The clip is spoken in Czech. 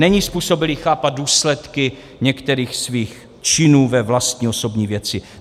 Není způsobilý chápat důsledky některých svých činů ve vlastní osobní věci.